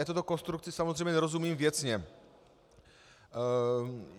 Já této konstrukci samozřejmě nerozumím věcně.